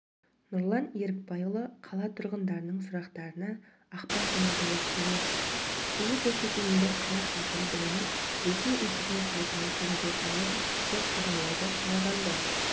нұрлан ерікбайұлы қала тұрғындарының сұрақтарына ақпан күні жауап береді тікелей көрсетілімді қала әкімдігінің ресми интернет сайтынан көруге болады деп хабарлайды қарағанды